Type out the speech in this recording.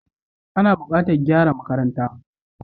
Ana bukatar gyara makarantar.